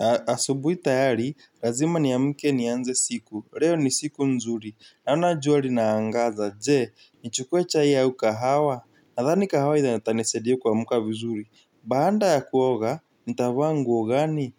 Na asubui tayari, lazima ni amke ni anze siku, leo ni siku nzuri, naona jua linaangaza, je, nichukue chai au kahawa, nadhani kahawa itanisaidia kuamuka vizuri. Baada ya kuoga, nitavaa nguo gani,